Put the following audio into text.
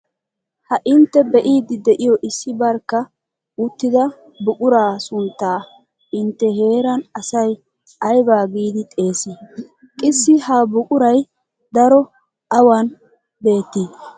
Ha intte be'iddi de'iyo issi barkka uttida buquraa sunttaa intte heeran asay aybaa giidi xeesii? Qssi ha buquray daro awan beettii?